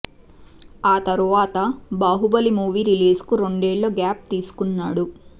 ఆ తర్వాత Baahubali movie release కు రెండేళ్లు గ్యాప్ తీసుకున్నాడు